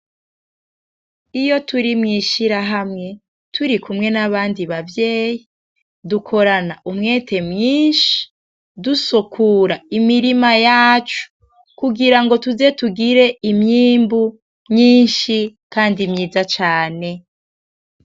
Iyo turi mw'ishirahamwe turikumwe nabandi bavyeyi dukorana umweti mwinshi dusukura imirima yacu kugira ngo tuze tugire imyimbu myinshi kandi myiza cane.